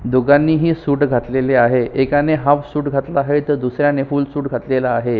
दोघाणी ही सूट घातलेले आहे एकाने हाल्फ सूट घातला आहे एकाने फूल सूट घातलेला आहे.